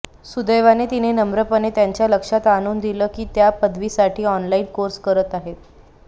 सुदैवाने तिने नम्रपणे त्यांच्या लक्षात आणून दिलं की ती त्या पदवीसाठी ऑनलाईन कोर्स करत आहे